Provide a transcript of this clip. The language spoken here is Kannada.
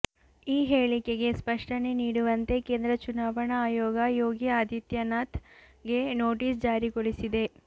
ಈ ಹೇಳಿಕೆಗೆ ಸ್ಪಷ್ಟನೆ ನೀಡುವಂತೆ ಕೇಂದ್ರ ಚುನಾವಣಾ ಆಯೋಗ ಯೋಗಿ ಆದಿತ್ಯನಾಥ್ ಗೆ ನೋಟಿಸ್ ಜಾರಿಗೊಳಿಸಿದೆ